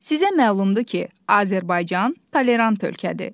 Sizə məlumdur ki, Azərbaycan tolerant ölkədir.